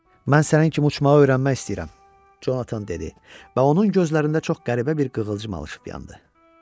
Mən sənin kimi uçmağı öyrənmək istəyirəm, Conatan dedi, və onun gözlərində çox qəribə bir qığılcım alışıp yandı.